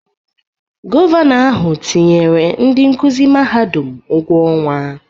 Gọvanọ ahụ tinyere ndị nkuzi mahadum ụgwọ ọnwa.